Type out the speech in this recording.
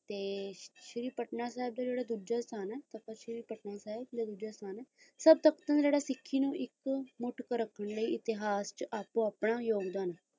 ਤੇ ਫਿਰ ਪਟਨਾ ਸਾਹਿਬ ਪੁੱਜੇ ਸਨ ਤਖਤ ਸ੍ਰੀ ਪਟਨਾ ਸਾਹਿਬ ਲਿਖਦੇ ਹਨ ਤੱਦ ਤੱਕ ਤਾਂ ਸਿੱਖੀ ਨੂੰ ਇੱਕ ਮੁਠ ਰਖਣ ਲਈ ਇਤਿਹਾਸ ਚ ਆਪਣਾ ਯੋਗਦਾਨ